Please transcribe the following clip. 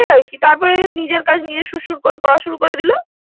তারপর আরকি তারপর নিজের কাজ নিয়ে শুর শুর করে করা শুরু করে ‍দিল।